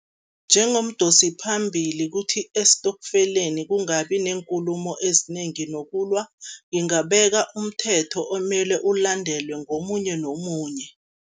Njengomdosi phambili kuthi esitokfeleni kungabi neenkulumo ezinengi nokulwa, ngingabeka umthetho omele ulandelwe ngomunye nomunye.